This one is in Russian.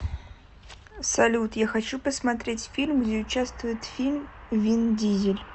салют я хочу посмотреть фильм где участвует фильм вин дизель